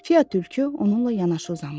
Fiya tülkü onunla yanaşı uzanmışdı.